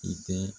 I tɛ